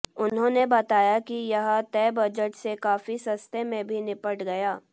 उन्होंने बताया कि यह तय बजट से काफी सस्ते में भी निपट गया